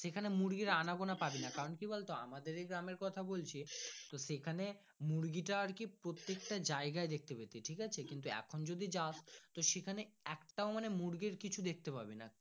সে খানে মুরগি আনা গোনা পাবি না কারণ কি বলতো আমাদের এ গ্রামের কথা বলছি তো সে খানে মুরগি টা আর কি প্রত্যেক টা জায়গায় দেখতে পেতি ঠিকাছে কিন্তু এখন যদি যাস সে খানে একটা মানে মুরগির কিছু দেখতে পাবিনা।